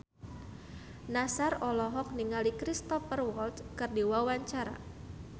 Nassar olohok ningali Cristhoper Waltz keur diwawancara